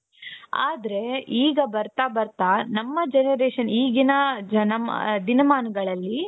ಆದ್ರೆ ಈಗ ಬರ್ತಾ ಬರ್ತಾ ನಮ್ಮ generation ಈಗಿನ ಜನ ದಿನಮಾನಗಳಲ್ಲಿ.